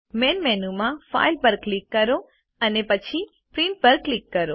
main મેનુમાં file પર click કરો અને પછી પ્રિન્ટ પર ક્લિક કરો